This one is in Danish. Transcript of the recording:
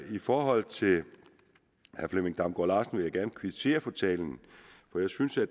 i forhold til herre flemming damgaard larsen vil jeg gerne kvittere for talen for jeg synes at